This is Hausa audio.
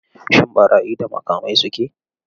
Shin ɓarayi da makamai suke?